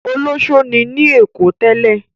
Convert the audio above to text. Olọṣó ni ní Èkó tẹ́lẹ̀?